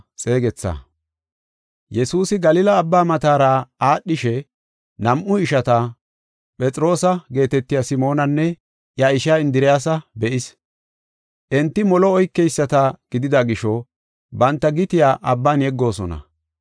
Yesuusi Galila Abbaa matara aadhishe nam7u ishata, Phexroosa geetetiya Simoonanne iya ishaa Indiriyasa be7is. Enti molo oykeyisata gidida gisho banta gitiya abban yeggoosona.